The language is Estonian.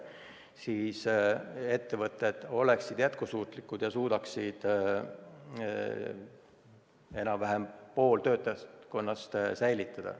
Siis oleksid nad jätkusuutlikud ja suudaksid enam-vähem poole töötajaskonnast säilitada.